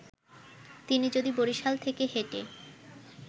তিনি যদি বরিশাল থেকে হেঁটে